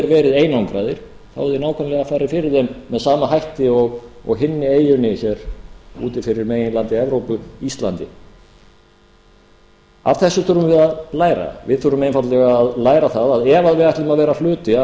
verið einangraðir hefði nákvæmlega farið fyrir þeim með sama hætti og hinni eyjunni hér úti fyrir meginlandi evrópu íslandi af þessu þurfum við að læra við þurfum einfaldlega að læra það að ef við ætlum að vera hluti af